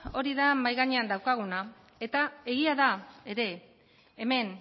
hori da mahai gainean daukaguna eta egia da ere hemen